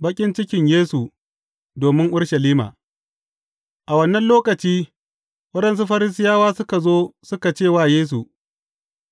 Baƙin cikin Yesu domin Urushalima A wannan lokaci, waɗansu Farisiyawa suka zo suka ce wa Yesu,